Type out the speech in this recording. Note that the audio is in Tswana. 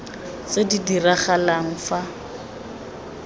tse di dirang fa di